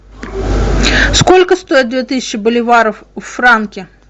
сколько стоит две тысячи боливаров в франки